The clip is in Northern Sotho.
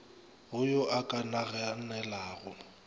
go yo a ka naganelago